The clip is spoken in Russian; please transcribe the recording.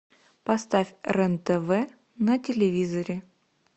поставь рен тв на телевизоре